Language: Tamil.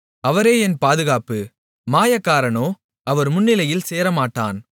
அவரே என் பாதுகாப்பு மாயக்காரனோ அவர் முன்னிலையில் சேரமாட்டான்